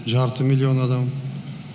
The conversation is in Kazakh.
жарты миллион адам